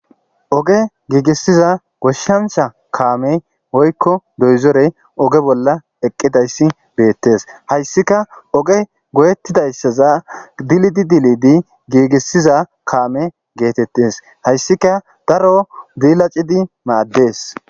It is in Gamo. Ogge gigisiza gishshanchcha kamme woyikko doyizzore ogge bolla eqqidayisi bettes hayissika ogge goyetidayisaza dilid dilidi gigisiza kaame gettetes haysika daro dilaccidi maddes.